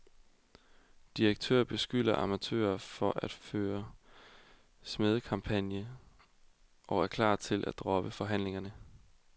Direktør beskylder amatører for at føre smædekampagne og er klar til at droppe forhandlingerne.